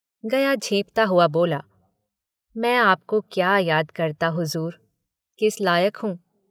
गया झेंपता हुआ बोला मैं आपको क्या याद करता हुज़ूर किस लायक हूँ।